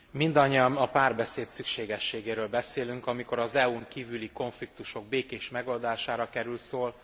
Mindannyian a párbeszéd szükségességéről beszélünk, amikor az EU n kívüli konfliktusok békés megoldására kerül szó.